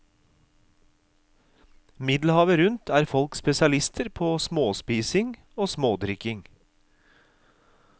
Middelhavet rundt er folk spesialister på småspising og smådrikking.